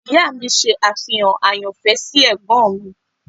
Ìyá mi ṣe àfihàn àyànfẹ́ sí Ẹ̀gbọ́n mi.